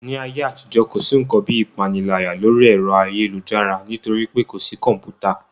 Ní ayé àtijọ́, kò sí ǹkan bíi ìpániláyà lórí ẹ̀rọ ayélujára nítorí pé kò sí kọ̀mpútà